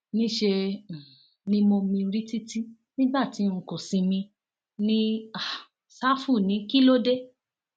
níṣẹ um ni mo mirí títì nígbà tí n kò sinmi ní um ṣáfù ní kí ló dé